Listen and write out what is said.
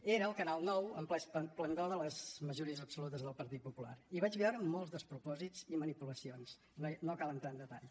era el canal nou en ple esplendor de les majories absolutes del partit popular i vaig veure molts despropòsits i manipulacions no cal entrar en detalls